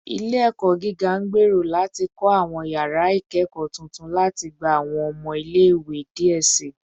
Ile-ẹkọ giga ngbero lati kọ awọn yara ikẹkọ tuntun lati gba awọn ọmọ ile-iwe diẹ sii